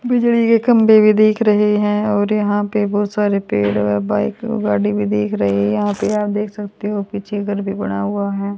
बिजली के खंभे भी दिख रहे हैं और यहां पे बहुत सारे पेड़ व बाइक गाड़ी भी दिख रही है यहां पे आप देख सकते हो पीछे घर भी बना हुआ है।